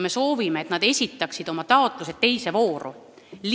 Me soovime, et nad esitaksid oma taotlused teises voorus.